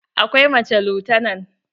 Akwai mace lutanan.